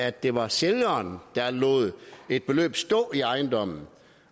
at det var sælgeren der lod et beløb stå i ejendommen